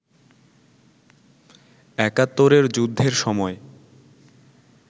একাত্তরের যুদ্ধের সময়